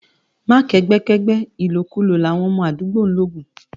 má kẹgbẹ kẹgbẹ, ìlò kú lò là wọn mọ àdúgbò logun